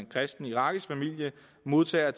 kristen irakisk familie modtager